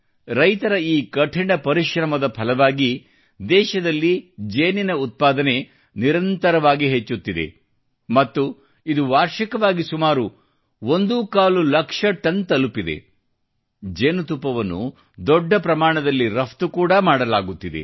ರೈತರ ಈ ಕಠಿಣ ಪರಿಶ್ರಮದ ಫಲವಾಗಿ ದೇಶದಲ್ಲಿ ಜೇನುತುಪ್ಪದ ಉತ್ಪಾದನೆಯು ನಿರಂತರವಾಗಿ ಹೆಚ್ಚುತ್ತಿದೆ ಮತ್ತು ಇದು ವಾರ್ಷಿಕವಾಗಿ ಸುಮಾರು ಒಂದೂ ಕಾಲು ಲಕ್ಷ ಟನ್ ತಲುಪಿದೆ ಜೇನುತುಪ್ಪವನ್ನು ದೊಡ್ಡ ಪ್ರಮಾಣದಲ್ಲಿ ರಫ್ತು ಕೂಡಾ ಮಾಡಲಾಗುತ್ತಿದೆ